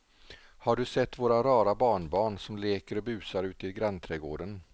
Har du sett våra rara barnbarn som leker och busar ute i grannträdgården!